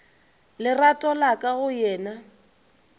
lerato la ka go yena